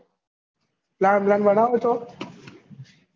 plan વલાન બનાવો તો